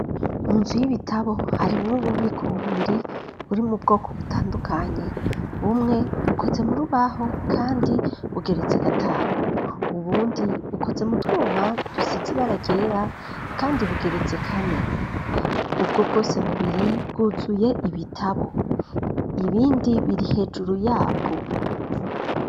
Mu nzu y'ibitabo harimw'ububiko bubiri ,buri mu bwoko butandukanye, bumwe bukoze mu rubaho, kandi bugeretse gatanu ,ubundi bukoze mu twuma dusizi bara ryera, kandi bugeretse kane, ubwo bwose bubiri bwuzuye ibitabo, ibindi biri hejuru yabwo.